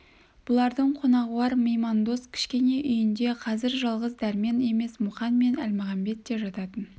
бұлардың қонағуар меймандос кішкене үйінде қазір жалғыз дәрмен емес мұқан мен әлмағамбет те жататын